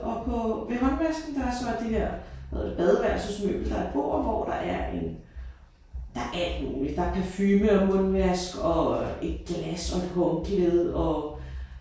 Og på ved håndvasken der er så det her hvad hedder det badeværelsesmøbel. Der er et bord hvor der er en der er alt muligt. Der er parfume og mundvask og et glas og et håndklæde og